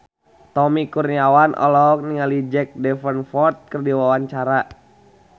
Tommy Kurniawan olohok ningali Jack Davenport keur diwawancara